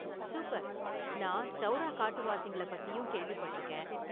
Super! நான் சௌரா காட்டுவாசிங்களப் பத்தியும் கேள்விப்பட்டிருக்கேன்.